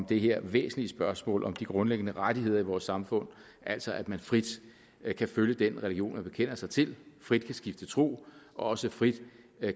det her væsentlige spørgsmål om de grundlæggende rettigheder i vores samfund altså at man frit kan følge den religion som man bekender sig til frit kan skifte tro og også frit